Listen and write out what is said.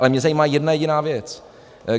Ale mě zajímá jedna jediná věc.